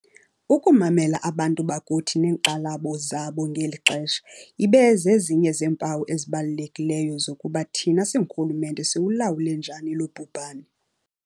Ukumamela abantu bakuthi neenkxalabo zabo ngeli xesha ibe zezinye zeempawu ezibalulekileyo zokuba thina singurhulumente siwulawule njani lo bhubhane.